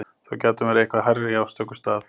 Þó gæti hún verið eitthvað hærri á stöku stað.